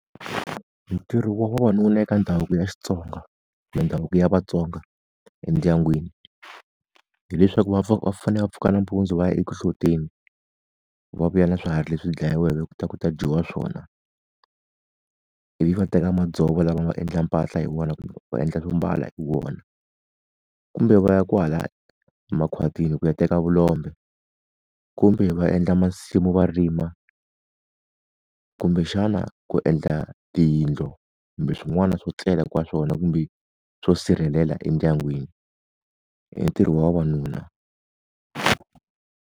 Ntirho wa vona wu la eka ndhavuko ya Xitsonga mindhavuko ya vatsonga endyangwini. Hileswaku va va fanele va pfuka nampundzu va ya eku hloteni, va vuya na swiharhi leswi dlayiweke ku ta ku ta dyiwa swona. Ivi va teka madzovo lava nga endla mpahla hi wona kumbe va endla swo mbala hi wona kumbe va ya kwahala makhwatini ku ya teka vulombe, kumbe va endla masimu va rima. Kumbexana ku endla tiyindlu, kumbe swin'wana swo tlela ka swona kumbe swo sirhelela endyangwini. I ntirho wa vavanuna.